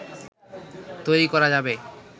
তৈরি করা যাবে